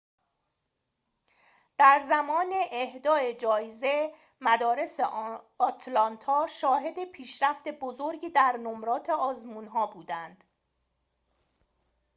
در زمان اهدای جایزه مدارس آتلانتا شاهد پیشرفت بزرگی در نمرات آزمون‌ها بودند